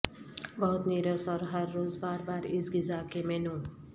بہت نیرس اور ہر روز بار بار اس غذا کے مینو